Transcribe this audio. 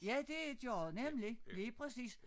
Ja det gjorde nemlig lige præcis